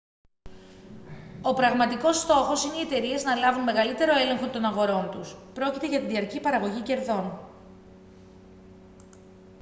ο πραγματικός στόχος είναι οι εταιρείες να λάβουν μεγαλύτερο έλεγχο των αγορών τους· πρόκειται για τη διαρκή παραγωγή κερδών